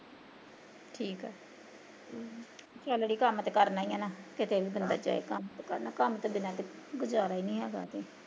ਠੀਕ ਆ ਚੱਲ ਅੜੀਏ ਕੰਮ ਤੇ ਕਰਨਾ ਈ ਨਾ ਕਿਤੇ ਉਹਦੇ ਨਾਲ਼ ਗਏ, ਕੰਮ ਤੇ ਕਰਨਾ, ਕੰਮ ਤੋਂ ਬਿਨਾਂ ਕਿੱਥੇ ਗੁਜ਼ਾਰਾ ਈ ਨੀ ਹੈਗਾ ਤੇ